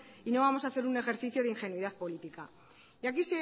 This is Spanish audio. y no vamos a hacer un ejercicio de ingenuidad política y aquí